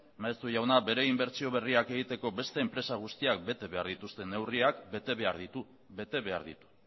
maeztu jauna bere inbertsio berriak egiteko beste enpresa guztiak bete behar dituzte neurriak bete behar ditu bete behar ditu